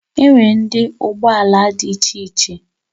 Enwere ụdị ụgbọ ala dị iche iche